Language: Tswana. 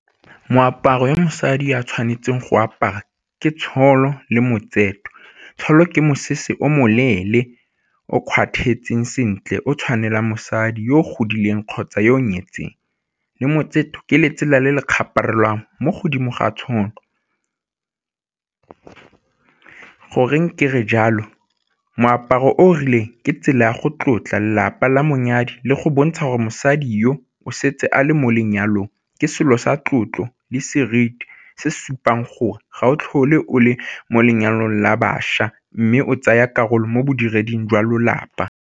Moaparo wa mosadi a tshwanetseng go apara ke le ke mosese o moleele o sentle o tshwanela mosadi yo o godileng kgotsa yo o nyetseng, le ke letsela le le mo godimo ga . Goreng kere jalo? Moaparo o rileng ke tsela ya go tlotla lelapa la monyadi le go bontsha gore mosadi yo o setse a le mo lenyalong, ke selo sa tlotlo le seriti se supang gore ga o tlhole o le mo lenyalong la bašwa mme o tsaya karolo mo bodiredi jwa lelapa.